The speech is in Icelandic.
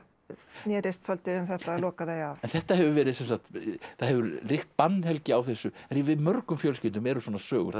snérist svolítið um það að loka þau af en þetta hefur verið sem sagt það hefur ríkt bannhelgi á þessu en í mörgum fjölskyldum eru svona sögur þar sem